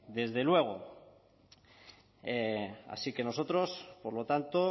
desde luego así que nosotros por lo tanto